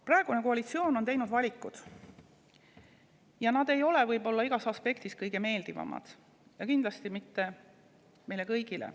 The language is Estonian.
Praegune koalitsioon on teinud valikuid, mis ei ole võib-olla igas aspektis kõige meeldivamad, kindlasti mitte meile kõigile.